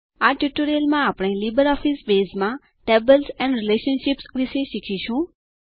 આ ટ્યુટોરીયલમાં આપણે લીબરઓફીસ બેઝમાંTables એન્ડ રિલેશનશીપ્સ વિષે શીખીશું